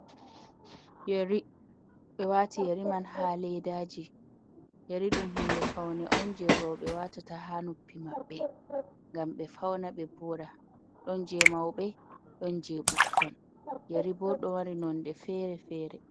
Yeri, ɓe wati yeri man ha ledaji, yeri ɗum hunde faune un je roɓe watata ha nuppi maɓɓe ngam ɓe fauna, ɓe voda don je mauɓe don je ɓukkon, yeri bo ɗo mari nonde fere-fere.